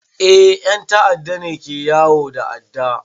Eh 'yan ta'adda ne ke yawo da adda.